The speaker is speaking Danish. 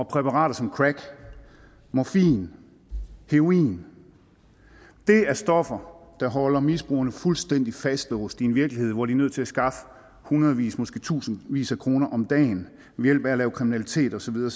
præparater som crack morfin heroin det er stoffer der holder misbrugerne fuldstændig fastlåst i en virkelighed hvor de er nødt til at skaffe hundredvis måske tusindvis af kroner om dagen ved at lave kriminalitet og så videre